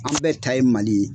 An bɛɛ ta ye Mali ye.